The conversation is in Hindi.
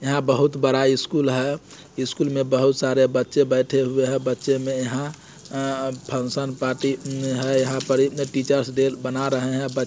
यहाँ बहुत बड़ा स्कूल है स्कूल में बहुत सारे बच्चे बैठे हुए है बच्चे में यहाँ अ-अ-अ फंक्शन पार्टी है यहाँ पर इतने टीचर देल बना रहे है ब--